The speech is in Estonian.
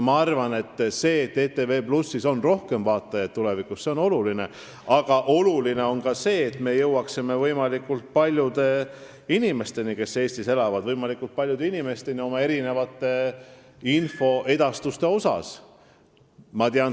Ma arvan, et see, et ETV+ kanalil on tulevikus rohkem vaatajaid, on oluline, aga oluline on ka see, et me jõuaksime oma infoedastusega võimalikult paljude inimesteni, kes Eestis elavad.